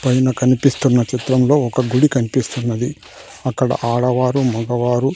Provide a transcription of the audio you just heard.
పైన కన్పిస్తున్న చిత్రంలో ఒక గుడి కన్పిస్తున్నది అక్కడ ఆడవారు మగవారు--